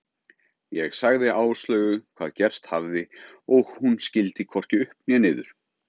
Ég sagði Áslaugu hvað gerst hafði og hún skildi hvorki upp né niður.